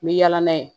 Me yaala n'a ye